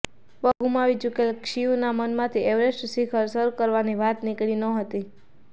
પગ ગુમાવી ચૂકેલા ક્ષિયુના મનમાંથી એવરેસ્ટ શિખર સર કરવાની વાત નીકળી નહોતી